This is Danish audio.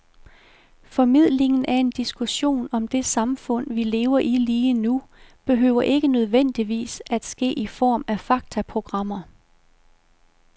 Formidlingen af en diskussion om det samfund, vi lever i lige nu, behøver ikke nødvendigvis at ske i form af faktaprogrammer.